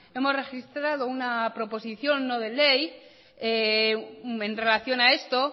hemos registrado una proposición no de ley en relación a esto